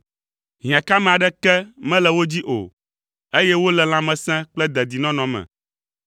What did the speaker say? Hiãkame aɖeke mele wo dzi o, eye wole lãmesẽ kple dedinɔnɔ me.